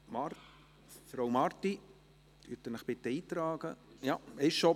– Frau Marti – bitte tragen Sie sich ein.